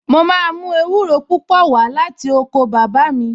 Màá mú ewúro púpò wá láti oko bàbá mi